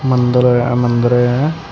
ਮੰਦਰ ਹੈ ਇਹ ਮੰਦਰ ਹੈ।